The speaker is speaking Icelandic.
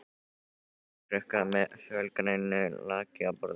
Glerkrukka með fölgrænu lakki á borðinu.